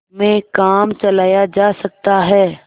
में काम चलाया जा सकता है